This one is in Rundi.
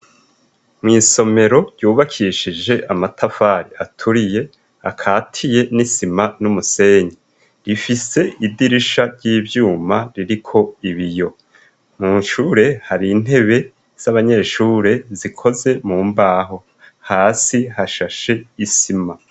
Mwisomero ryubakishije amatafari aturiye akatiye n'isima n'umusenyi, rifise idirisha ry'ivyuma ririko ibiyo mwishure hari intebe z'abanyeshure zikoze mu mbaho, hasi hashashe isima.